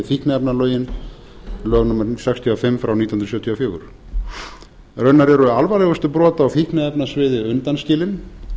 fíkniefnalögin lög númer sextíu og fimm nítján hundruð sjötíu og fjögur raunar eru alvarlegustu brot á fíkniefnasviði undanskilin